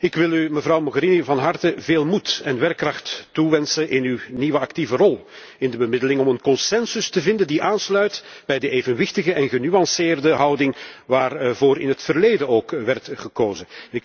Ik wil u, mevrouw Mogherini, van harte veel moed en werkkracht toewensen in uw nieuwe actieve rol in de bemiddeling om een consensus te vinden die aansluit bij de evenwichtige en genuanceerde houding, waarvoor in het verleden ook werd gekozen.